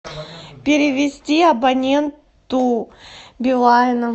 перевести абоненту билайна